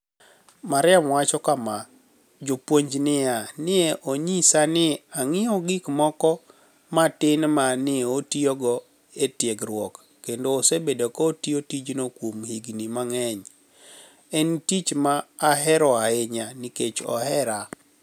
Maria wacho kama: "Japuonijnia ni e oniyisa nii onig'iew gik moko matini ma ni e otiyogo e tiegruok, kenido osebedo ka otiyo tijno kuom higinii manig'eniy, eni tich ma ahero ahiniya niikech ohere".